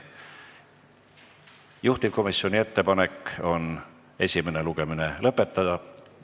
Juhtivkomisjoni ettepanek on esimene lugemine lõpetada.